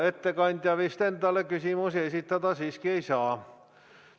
Ettekandja vist endale küsimusi esitada siiski ei saa.